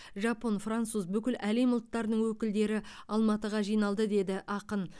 жапон француз бүкіл әлем ұлттарының өкілдері алматыға жиналды деді ақын